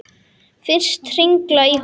Finnst hringla í honum.